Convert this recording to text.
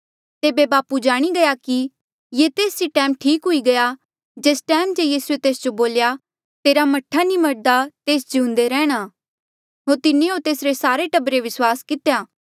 तेबे बापू जाणी गया कि ये तेस ई टैम ठीक हुई गया जेस टैमा जे यीसूए तेस जो बोल्या तेरा मह्ठा नी मरदा तेस जिउंदे रेहणा होर तिन्हें होर तेसरे सारे टब्बरे विस्वास कितेया